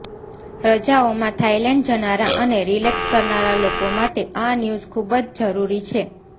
રજાઓમાં Thailand જનારા અને relax કરનારા લોકો માટે આ ન્યૂઝ ખૂબ જ જરૂરી છે